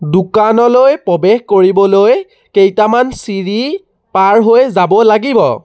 দোকানলৈ প্ৰৱেশ কৰিবলৈ কেইটামান চিৰি পাৰ হৈ যাব লাগিব।